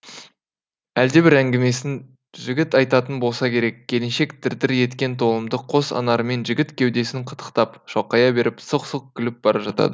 әлдебір әңгімесін жігіт айтатын болса керек келіншек дір дір еткен толымды қос анарымен жігіт кеудесін қытықтап шалқая беріп сылқ сылқ күліп бара жатады